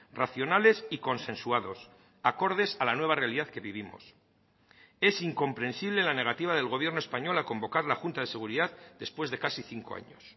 racionales y consensuados acordes a la nueva realidad que vivimos es incomprensible la negativa del gobierno español a convocar la junta de seguridad después de casi cinco años